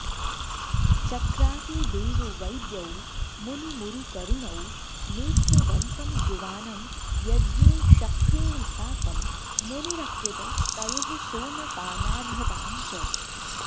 चक्राते देववैद्यौ मुनिमुरुकरुणौ नेत्रवन्तं युवानं यज्ञे शक्रेण साकं मुनिरकृत तयोः सोमपानार्हतां च